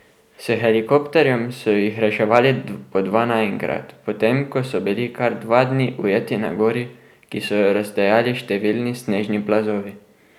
S helikopterjem so jih reševali po dva naenkrat po tem, ko so bili kar dva dni ujeti na gori, ki so jo razdejali številni snežni plazovi.